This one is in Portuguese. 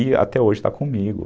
E até hoje está comigo.